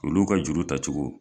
Olu ka juru tacogo.